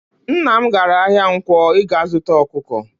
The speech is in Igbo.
Nne m gara ahia Nkwo ịga zuta ọkụkọ.